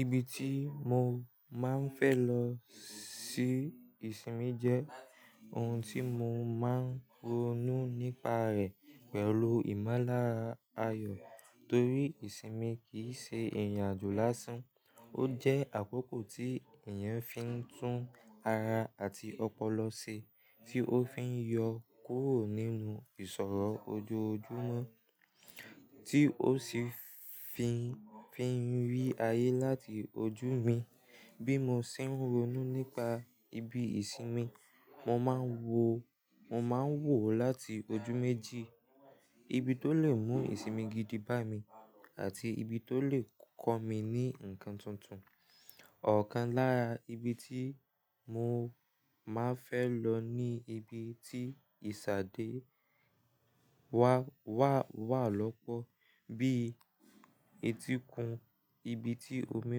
Ibi tí mo máa ń fẹ́ lọ sí ìsinmi jẹ́ ohun tí mo máa ń ronú nípa rẹ̀ pẹ̀lú ìmọ̀lára àyọ̀. Torí rí ìsinmi kì í se ìrìnàjò lásán, ó jẹ́ àkókò tí èèyàn fi ń tún ara àti ọpọlọ ṣe, tí ó fi ń yọ kúrò nínú ìṣòro ojoojúmọ́, tí ó sì fi ń rí ayé láti ojú mi. Bí mo se ń ronú nípa ibi ìsinmi, mo máa ń wò ó láti ojú méjì: ibi tó lè mú ìsinmi gidi bá mi àti ibi tó lè kọ́ mi ní ǹkan tuntun. Ọ̀kan lára ibi tí mo máa ń fẹ́ lọ ni ibi tí ìsadé wà lọ́pọ̀ bí i etíkun. Ibi tí omi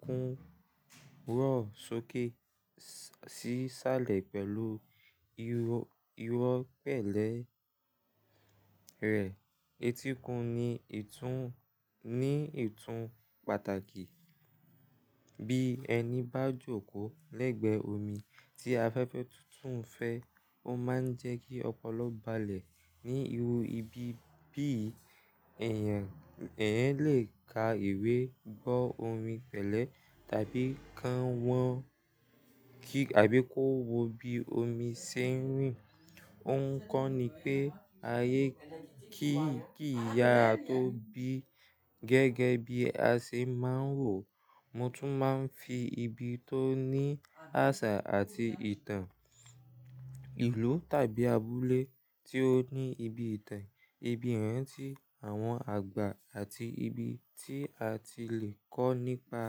kún ró ṣókè sì sálẹ̀ pẹ̀lú irọ́ pẹ̀lẹ́ rẹ̀. Etíkun ní ìtún pàtàkì. Bí ẹni bá jókòó lẹ́gbẹ̀ẹ́ omi tí afẹ́fẹ́ tuntun fẹ́, ó máa ń jẹ́ kí ọpọlọ balẹ̀ níru ibi. Bí èèyàn lè ka ìwé bọ́ omi pẹ̀lẹ́ tàbí kàn wọ́n kíkí tàbí kó wo bí omi ṣe ń rìn. Ó ń kọ́ ni pé ayé kì í ya tó bí gẹ́gẹ́ bí a ṣe máa ń wò ó. Mo tún máa ń fi ibi tó ní àṣà àti ìtàn, ìlú tàbi abúlé tí ó ní ibi ìtàn, ibi ìrántí àwọn àgbà àti ibi tí a ti lè kọ́ nípa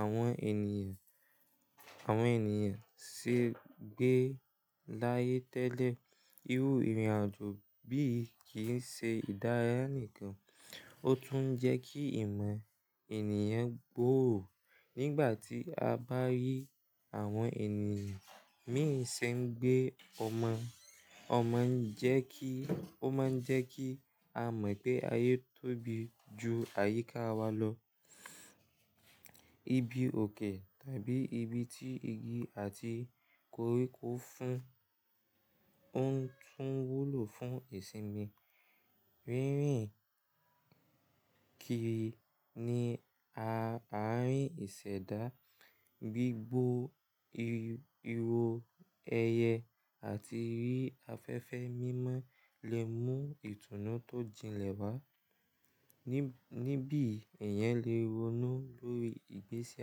àwọn ènìyàn ṣe gbé láyé tẹ́lẹ̀. Irú ìrìnàjò bí í kì í ṣe ìdárayá nìkan, ó tún jẹ́ kí ìmọ̀ ènìyàn gbòò. Nígbà tí a bá rí àwọn ènìyàn míì ṣe ń gbé ọmọ, ó máa ń jẹ́ kí a mọ̀ pé ayé tóbi ju àyíká wa lọ. Ibi òkè tàbi ibi tí igi àti koríko fún ń tún wúlò fún ìsinmi. Rírìn kiri ni àárín ìṣẹ̀dá, gbígbó irọ̀ ẹyẹ àti rí afẹ́fẹ́ mímọ́ lè mú ìtùnú tó jìnlẹ̀ wá. Níbi èèyàn lè ronú lórí ìgbésí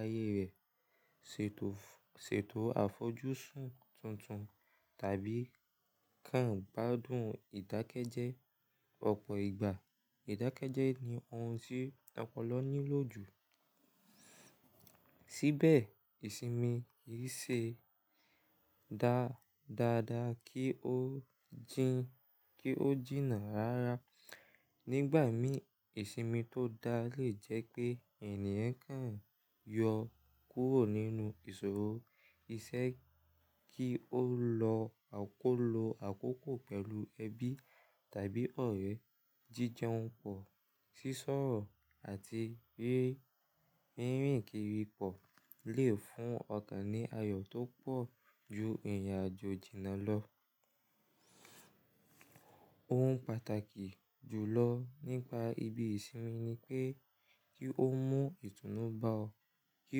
ayé rẹ̀, ṣètò àfojúsùn tuntun tàbí kàn gbádùn ìdákẹ́jẹ́ ọ̀pọ̀ ìgbà. Ìdákẹ́jẹ́ ni ohun tí ọpọlọ ní lòjù. Síbẹ̀ ìsinmi kì í ṣe dáadáa kí ó jìnnà rára. Nígbà mìíràn ìsinmi tó dáa lè jẹ́ pé èèyàn kàn yọ kúrò nínú ìṣòro. Iṣẹ́ kí ó lọ kó lo àkókò pẹ̀lú ẹbí tàbí ọ̀rẹ́, jíjẹun pọ̀, sísọ̀rọ̀ àti rí rírìn kiri pọ̀ lè fún ọ̀kan ní ayọ̀ tó pọ̀ ju ìrìnàjò jìnnà lọ. Ohun pàtàkì jùlọ nípa ibi ìsinmi ni pé kí ó mú ìtùnú bá ọ, kí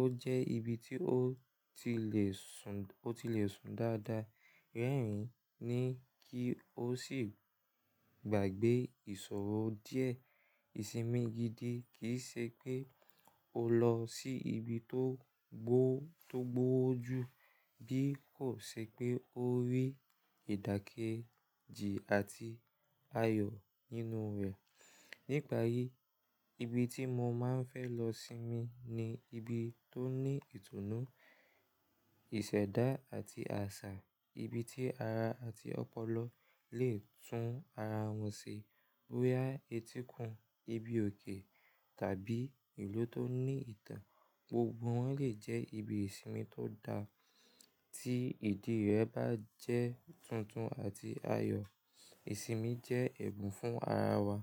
ó jẹ́ ibi tí o ti lè sùn dáadáa, rẹ́rìn-ín ni kí ó sì gbàgbé ìṣòro díẹ̀. Ìsinmi gidi kì í ṣe pé o lọ sí ibi tó gbó ju bí kò ṣe pé ó rí ìdákẹ́ji àti ayọ̀ nínú rẹ̀. Nípa yí, ibi tí mo máa ń fẹ́ lọ sinmi ni ibi tó ní ìtùnú, ìṣẹ̀dá àti àṣà. Ibi tí ara àti ọpọlọ lè tún ara wọn ṣe. Bóyá etíkun, ibi òkè tàbi ìlú tó ní ìtàn, gbogbo wọn lè jẹ́ ibi ìsinmi tó dá ti ìdí rẹ̀ bá jẹ́ tuntun àti ayọ̀. Ìsinmi jẹ́ ẹ̀bùn fún ara wa.